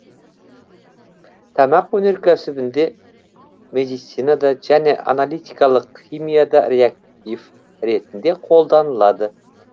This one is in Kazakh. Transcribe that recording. тамақ өнеркәсібінде медицинада және аналитикалық химияда реактив ретінде қолданылады